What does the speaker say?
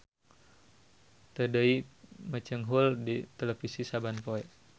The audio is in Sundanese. Teu deui mecenghul di televisi saban poe.